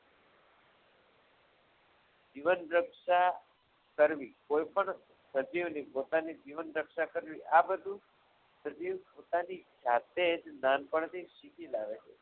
જીવન રક્ષા કરવી કોઈપણ સજીવની પોતાની રક્ષા કરવી આ બધું સજીવ પોતાની જાતે જ નાનપણથી શીખી લાવે છે.